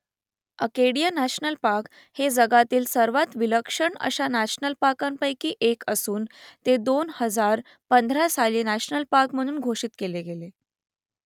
Acadia national park हे जगातील सर्वात विलक्षण अशा नॅशनल पार्कपैकी एक असून ते दोन हजार पंधरा साली नॅशनल पार्क म्हणून घोषित केले गेले